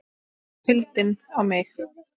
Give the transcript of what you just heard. KULDINN á mig.